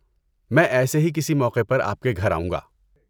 میں ایسے ہی کسی موقعے پر آپ کے گھر آؤں گا۔